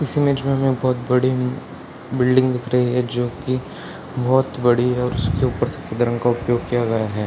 इस इमेज में हमें बहुत बड़ी बिल्डिंग दिख रही है जो की बहुत बड़ी है | उसके ऊपर सफ़ेद रंग का उपयोग किया हुआ है।